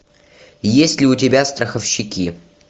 есть ли у тебя страховщики